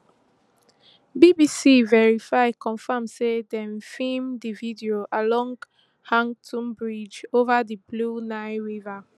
bbc verify confam say dem feem di video along hantoub bridge ova di blue nile river